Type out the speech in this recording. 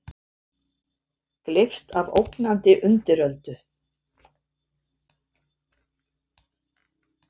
Gleypt af ógnandi undiröldu?